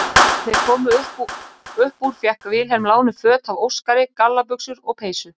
Þegar þeir komu upp úr fékk Vilhelm lánuð föt af Óskari, gallabuxur og peysu.